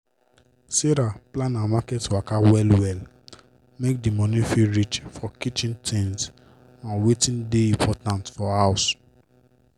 sarah plan her market waka well-well make d money fit reach for kitchen tins and wetin dey important for house.